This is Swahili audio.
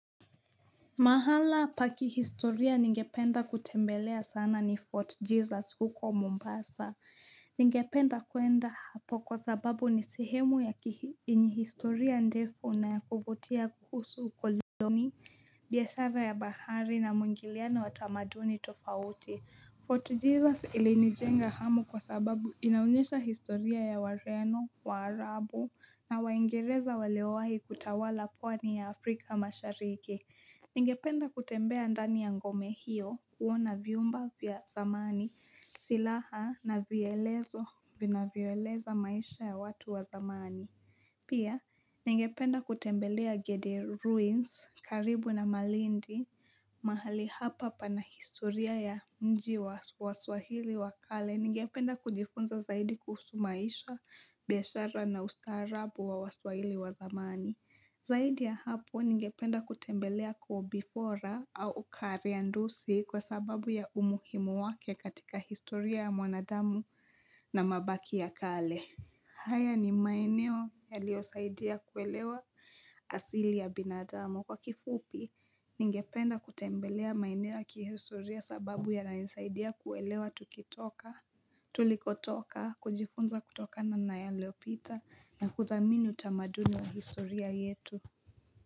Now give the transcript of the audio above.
Mahala pa kihistoria ningependa kutembelea sana ni Fort Jesus huko Mombasa. Ningependa kuenda hapo kwa sababu ni sehemu ya kihihistoria ndefu na kuvutia kuhusu ukoioni, biashara ya bahari na mungiliano wa tamaduni tofauti. Fort Jesus ilinijenga hamu kwa sababu inaonyesha historia ya wareno, waarabu na waingereza waliowahi kutawala pwani ya Afrika mashariki. Ningependa kutembea ndani ya ngome hiyo kuona vyumba vya zamani silaha na vielezo vina vieleza maisha ya watu wa zamani. Pia, ningependa kutembelea Gede Ruins karibu na Malindi. Mahali hapa pana historia ya mji wa swahili wa kale ningependa kujifunza zaidi kuhusu maisha, biashara na ustaarabu wa swahili wa zamani. Zaidi ya hapo, ningependa kutembelea kobifora au kariandusi kwa sababu ya umuhimu wake katika historia ya mwanadamu na mabaki ya kale. Haya ni maeneo yaliyosaidia kuelewa asili ya binadamu. Kwa kifupi, ningependa kutembelea maeneo ya kihistoria sababu yananisaidia kuelewa tukitoka, tulikotoka, kujifunza kutoka na nayaliyopita na kuudhamini utamaduni wa historia yetu.